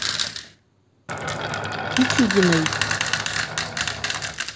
пичугиной